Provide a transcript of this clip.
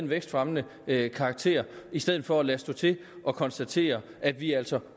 vækstfremmende karakter i stedet for at lade stå til og konstatere at vi altså